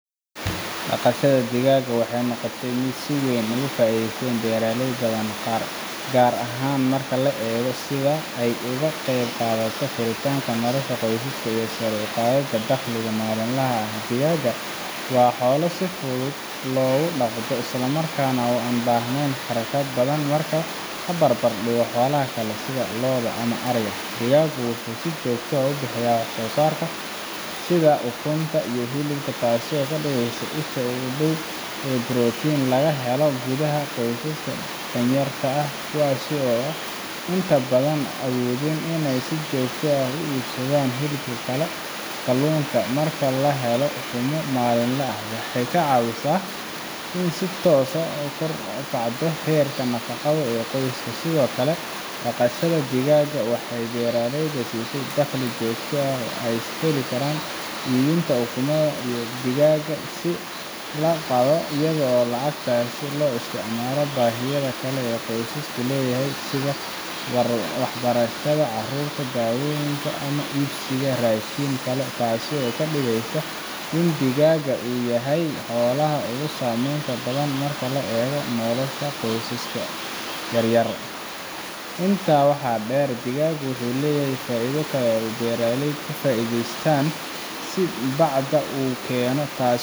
dhaqashada digaaga waxay noqotay mid si weyn uga faa’iideysay beeraley badan gaar ahaan marka la eego sida ay uga qayb qaadato koritaanka nolosha qoyska iyo sare u qaadidda dakhliga maalinlaha ah digaaga waa xoolo si fudud loo dhaqdo islamarkaana aan u baahnayn kharash badan marka la barbardhigo xoolaha kale sida lo’da ama ariga digaaga wuxuu si joogto ah u bixiyaa wax soo saar sida ukunta iyo hilibka taasoo ka dhigaysa isha ugu dhow ee protein laga helo gudaha qoysaska danyarta ah kuwaas oo inta badan aan awoodin inay si joogto ah u iibsadaan hilibka kale ama kalluunka marka la helo ukumo maalinle ah waxay ka caawisaa in si toos ah kor ugu kacdo heerka nafaqo ee qoyska sidoo kale dhaqashada digaaga waxay beeraleyda siisaa dakhli joogto ah oo ay ka helaan iibinta ukunta iyo digaagga la qalo iyadoo lacagtaas loo isticmaalo baahiyaha kale ee qoysku leeyahay sida waxbarashada carruurta daawooyinka ama iibsiga raashin kale taasoo ka dhigaysa in digaaga uu yahay xoolaha ugu saameynta badan marka la eego nolosha qoysaska yar yar intaa waxaa dheer digaagu wuxuu leeyahay faa’iido kale oo ay beeraleydu ka faa’iidaystaan sida bacda uu keeno taas oo